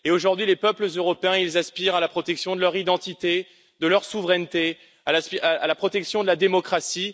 Et aujourd'hui, les peuples européens aspirent à la protection de leur identité, de leur souveraineté, à la protection de la démocratie.